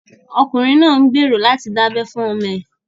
Ọkùnrin náà ń gbèrò láti dábẹ́ fún ọmọ ẹ̀